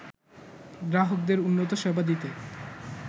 গ্রাহকদের উন্নত সেবা দিতে